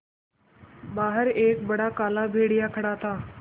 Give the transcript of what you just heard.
बाहर एक बड़ा काला भेड़िया खड़ा था